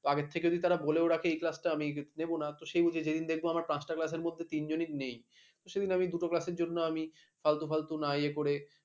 আগের থেকে যদি তারা বলেও রাখে সেই class আমি নেব না সে অনুযায়ী যেদিন পাঁচটা class মধ্যে তিনজনেই নেই সেদিন আমি দুটো class জন্য আমি ফালতু ফালতু নাই এ করে